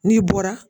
N'i bɔra